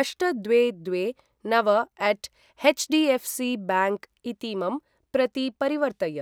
अष्ट द्वे द्वे नव अट् एच्डिऎफ्सि ब्याङ्क् इतीमं प्रति परिवर्तय।